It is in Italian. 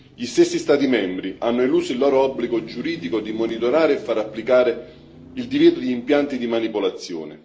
Gli stessi Stati membri hanno eluso il loro obbligo giuridico di monitorare e far applicare il divieto di impianti di manipolazione.